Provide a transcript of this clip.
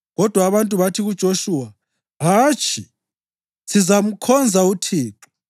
Kodwa abantu bathi kuJoshuwa, “Hatshi! Sizamkhonza uThixo.”